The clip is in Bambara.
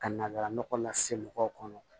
Ka na nɔgɔ lase mɔgɔw ma